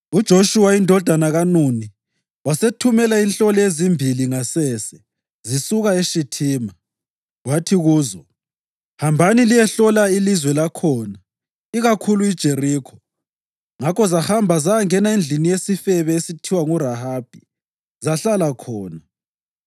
UJoshuwa indodana kaNuni wasethumela inhloli ezimbili ngasese zisuka eShithima. Wathi kuzo, “Hambani liyehlola ilizwe lakhona, ikakhulu iJerikho.” Ngakho zahamba zayangena endlini yesifebe esithiwa nguRahabi, zahlala khona.